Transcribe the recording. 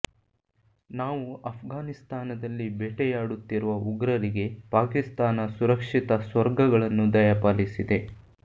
ನಾವು ಅಫ್ಘಾನಿಸ್ತಾನದಲ್ಲಿ ಬೇಟೆಯಾಡುತ್ತಿರುವ ಉಗ್ರರಿಗೆ ಪಾಕಿಸ್ತಾನ ಸುರಕ್ಷಿತ ಸ್ವರ್ಗಗಳನ್ನು ದಯಾಪಾಲಿಸಿದೆ